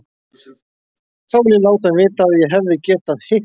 Þá vil ég láta hann vita að ég hefði getað hitt hann.